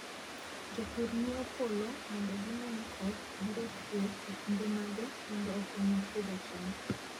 Jopur ng'iyo polo mondo gine ni koth biro chue e kinde mage mondo okonygi pidho cham.